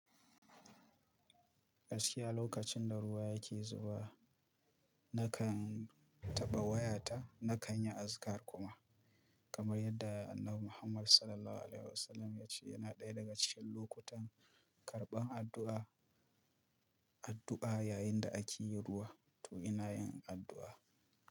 Gaskiya lokacin da ruwa yake zuba, nakan taɓa wayata, na kan yi azkar kuma kamar yanda annabi Muhammad SAW yace, yana ɗaya daga cikin lokutan karɓan addu'a, addu'a yayin da ake yin ruwa, to ina yin addu'a.